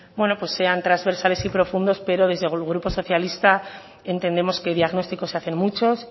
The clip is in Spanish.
sean transversales y profundos pero desde el grupo socialista entendemos que diagnósticos se hacen muchos